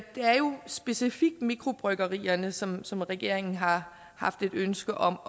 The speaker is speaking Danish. specifikt mikrobryggerierne som som regeringen har haft et ønske om